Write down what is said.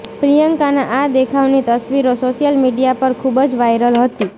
પ્રિયંકાના આ દેખાવની તસવીરો સોશિયલ મીડિયા પર ખૂબ જ વાયરલ હતી